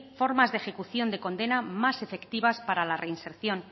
formas de ejecución de condena más efectivas para la reinserción